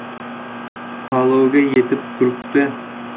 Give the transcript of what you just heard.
Palovga yetib turibdi.